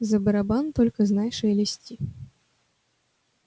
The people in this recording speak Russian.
за барабан только знай шелести